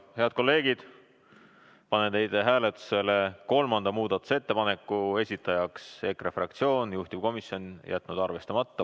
Head kolleegid, panen hääletusele kolmanda muudatusettepaneku, esitajaks EKRE fraktsioon, juhtivkomisjon on jätnud arvestamata.